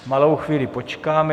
Malou chvíli počkám.